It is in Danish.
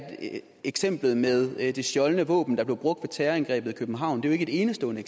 eksemplet med det stjålne våben der blev brugt ved terrorangrebet i københavn ikke et enestående